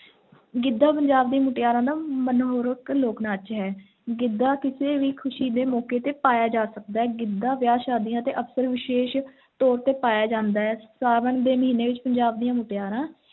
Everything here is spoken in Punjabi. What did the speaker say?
ਗਿੱਧਾ ਪੰਜਾਬ ਦੀਆਂ ਮੁਟਿਆਰਾਂ ਦਾ ਮਨਮੋਹਕ ਲੋਕ-ਨਾਚ ਹੈ, ਗਿੱਧਾ ਕਿਸੇ ਵੀ ਖ਼ੁਸ਼ੀ ਦੇ ਮੌਕੇ ’ਤੇ ਪਾਇਆ ਜਾ ਸਕਦਾ ਹੈ, ਗਿੱਧਾ ਵਿਆਹ ਸ਼ਾਦੀਆਂ ਤੇ ਅਕਸਰ ਵਿਸ਼ੇਸ਼ ਤੌਰ 'ਤੇ ਪਾਇਆ ਜਾਂਦਾ ਹੈ, ਸਾਉਣ ਦੇ ਮਹੀਨੇ ਵਿੱਚ ਪੰਜਾਬ ਦੀਆਂ ਮੁਟਿਆਰਾਂ